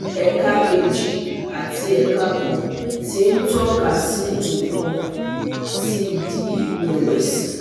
ẹ̀ka kejì àti ẹ̀ka kan tí ń tọ́ka sí nǹkan ti di ìrẹ̀wẹ̀sì